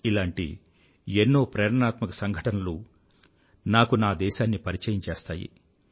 ఇలాంటి ఎన్నో ప్రేరణాత్మక సంఘటనలు నాకు నా దేశాన్ని పరిచయం చేస్తాయి